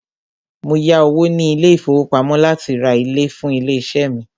Mó yá owó ní ilé ìfọwọ́pamo láti rá ìlẹ̀ fún ilé iṣé mí.